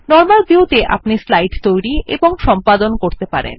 normal view ত়ে আপনি slide তৈরী এবং সম্পাদন কতে পারবেন